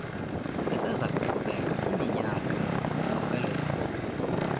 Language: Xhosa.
esezakuqhubeka iiminyaka iqokelela